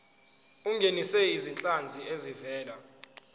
ungenise izinhlanzi ezivela